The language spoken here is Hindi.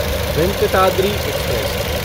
वेंकटाद्रि एक्सप्रेस